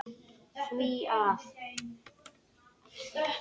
því að